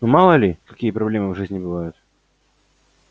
ну мало ли какие проблемы в жизни бывают